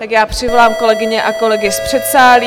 Tak já přivolám kolegyně a kolegy z předsálí.